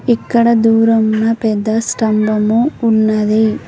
ఇక్కడ దూరమున పెద్ద స్తంభము ఉన్నది.